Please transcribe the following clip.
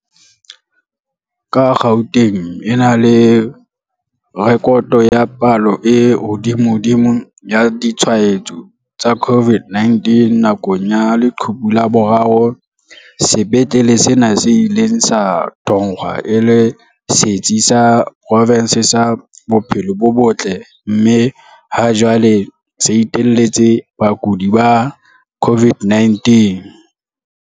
Ka Gauteng e nang le rekoto ya palo e hodimodimo ya ditshwa etso tsa COVID-19 nakong ya leqhubu la boraro, sepetlele sena se ile sa thongwa e le setsi sa profense sa bophelo bo botle mme ha jwale se iteletse bakudi ba COVID-19.